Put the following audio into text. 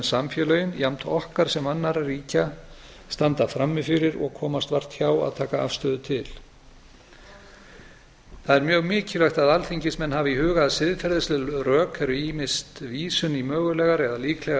samfélögin jafnt okkar sem annarra ríkja standa frammi fyrir og komast vart hjá að taka afstöðu til það er mjög mikilvægt að alþingismenn hafi í huga að siðferðisleg rök eru ýmist vísun í mögulegar eða líklegar